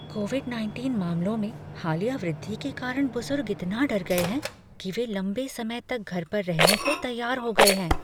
Covid nineteen मामलों में हालिया वृद्धि के कारण बुजुर्ग इतना डर गए हैं कि वे लंबे समय तक घर पर रहने को तैयार हो गए हैं।